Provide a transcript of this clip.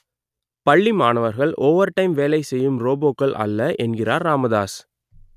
பள்ளி மாணவர்கள் ஓவர்டைம் வேலை செய்யும் ரோபோக்கள் அல்ல என்கிறார் ராமதாஸ்